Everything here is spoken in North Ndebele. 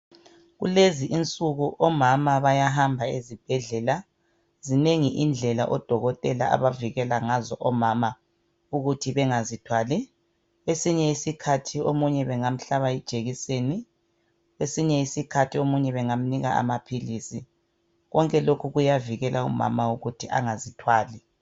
Kulezi insuku omama bayahamba ezibhedlela. Zinengi indlela oDokotela abavikela ngazo omama ukuthi bengazithwali . Kwesinye isikhathi omunye bengamhlaba ijekiseni , kwesinye isikhathi omunye bengamnika amaphilisi .Konke lokhu kuyavikela umama ukuthi angazithwali.